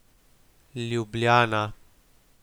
Ljubljana.